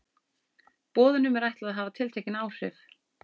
Boðunum er ætlað að hafa tiltekin áhrif.